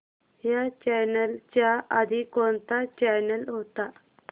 ह्या चॅनल च्या आधी कोणता चॅनल होता